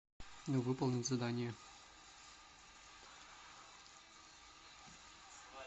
выполнить задание